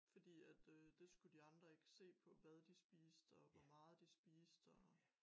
Fordi at øh det skulle de andre ikke se på hvad de spiste og hvor meget de spiste og